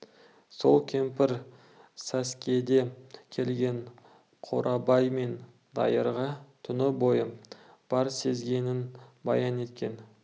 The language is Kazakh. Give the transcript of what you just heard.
сол кемпір сәскеде келген қорабай мен дайырға түні бойғы бар сезгенін баян еткен